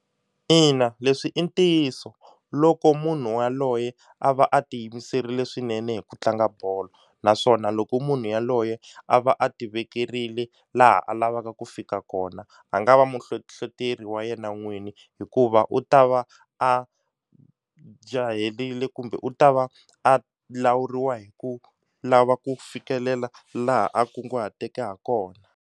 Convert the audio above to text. Ina leswi i ntiyiso loko munhu yaloye a va a ti yimiserile swinene hi ku tlanga bolo naswona loko munhu yaloye a va a ti vekerile laha a lavaka ku fika kona a nga a va muhlohloteri wa yena n'wini hikuva u ta va a jaherile kumbe u ta va a lawuriwa hi ku lava ku fikelela laha a kunguhateke ha kona.